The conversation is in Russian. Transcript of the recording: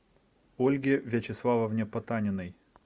ольге вячеславовне потаниной